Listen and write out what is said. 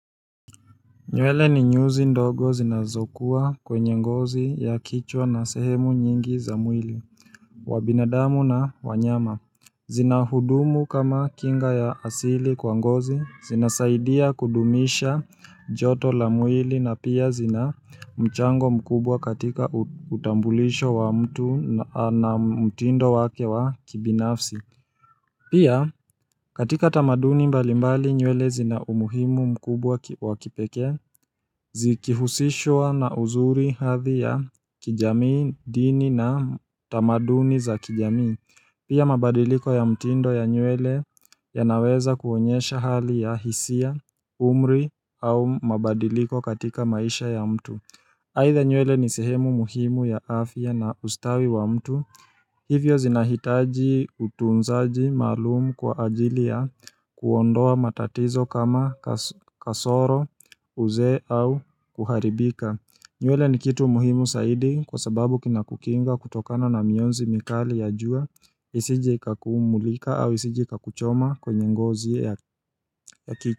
Nywele ni nyuzi ndogo zinazokua kwenye ngozi ya kichwa na sehemu nyingi za mwili, wa binadamu na wanyama. Zina hudumu kama kinga ya asili kwa ngozi, zinasaidia kudumisha joto la mwili na pia zina mchango mkubwa katika utambulisho wa mtu na mtindo wake wa kibinafsi. Pia katika tamaduni mbali mbali nywele zina umuhimu mkubwa wakipekea zikihusishwa na uzuri hathi ya kijamii dini na tamaduni za kijami. Pia mabadiliko ya mtindo ya nywele yanaweza kuonyesha hali ya hisia, umri au mabadiliko katika maisha ya mtu. Aidha nywele ni sehemu muhimu ya afa na ustawi wa mtu, hivyo zinahitaji utunzaji maalumu kwa ajili ya kuondoa matatizo kama kaso kasoro, uzee au kuharibika. Nywele ni kitu muhimu saidi kwa sababu kinakukinga kutokana na mionzi mikali ya jua, isije ikakumulika au isije ikakuchoma kwenye ngozi ya ya ki.